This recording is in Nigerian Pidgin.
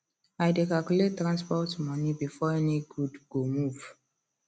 i dey calculate transport money before any good go move